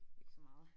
Ikke så meget